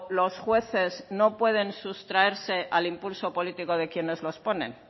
los jueces no pueden sustraerse al impulso político de quienes los ponen